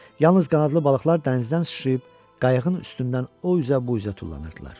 Yalnız qanadlı balıqlar dənizdən sıçrayıb qayıqın üstündən o üzə bu üzə tullanırdılar.